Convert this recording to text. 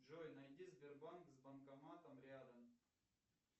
джой найди сбербанк с банкоматом рядом